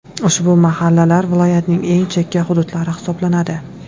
Ushbu mahallalar viloyatning eng chekka hududlari hisoblanadi.